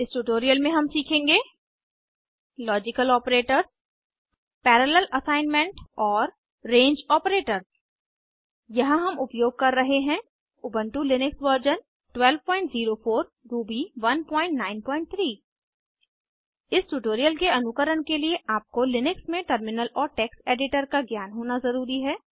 इस ट्यूटोरियल में हम सीखेंगे लॉजिकल आपरेटर्स पैरालेल असाइनमेंट और रंगे आपरेटर्स यहाँ हम उपयोग कर रहे हैं उबन्टु लिनक्स वर्जन 1204 रूबी 193 इस ट्यूटोरियल के अनुकरण के लिए आपको लिनक्स में टर्मिनल और टेक्स्ट एडिटर का ज्ञान होना ज़रूरी है